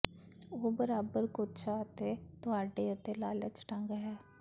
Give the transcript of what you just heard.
ਉਹ ਬਰਾਬਰ ਕੋਝਾ ਅਤੇ ਤਹੁਾਡੇ ਅਤੇ ਲਾਲਚ ਢੰਗ ਹੈ